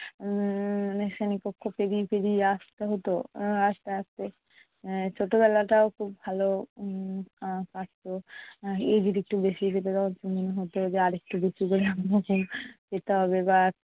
উম শ্রেণীকক্ষ পেরিয়ে পেরিয়ে আসতে হতো উম আসতে আসতে। ছোটবেলাটাও খুব ভালো উম কাটতো মনে হতো আর একটু বেশি করে